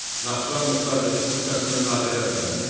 Naxçıvan Muxtar Respublikasının Nazirlər Kabineti.